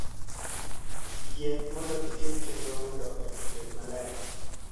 yie mondo itim chenro mondo ot obed maler